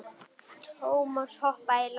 Thomas hoppaði í land.